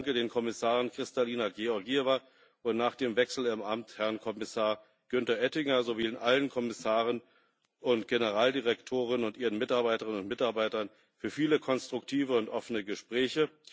Ich danke den Kommissaren Kristalina Georgieva und nach dem Wechsel im Amt Herrn Kommissar Günther Oettinger, sowie allen Kommissaren und Generaldirektoren und ihren Mitarbeiterinnen und Mitarbeitern für viele konstruktive und offene Gespräche.